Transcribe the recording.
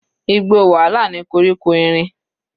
Igbó wàhálà ni koríko erin.